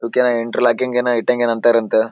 ಇವುಕೆನ interlocking ಏನೋ ಇಟ್ಟಂಗ ಏನಂತರಂತೆ.